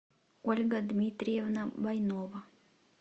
ольга дмитриевна войнова